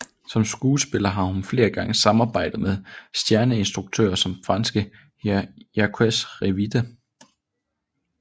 Som skuespiller har hun flere gange samarbejdet med stjerneinstruktører som franske Jacques Rivette